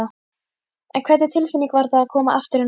En hvernig tilfinning var að koma aftur inn á þing?